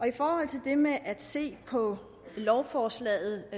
i forhold til det med at se på lovforslaget